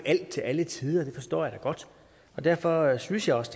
alt til alle tider og det forstår jeg da godt og derfor synes jeg også